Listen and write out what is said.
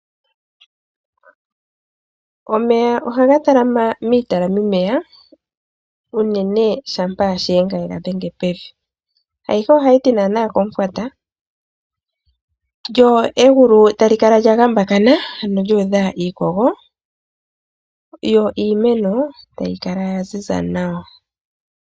Omeya oha gatalama miitalamimeya unene shampa shiyenga yegadhenge pevi, ayihe ohayiti naana kom'fwata, lyo egulu tali kala lya gambakana ano lyu udha iikogo yo iimeno tayi kala yaziza nawa.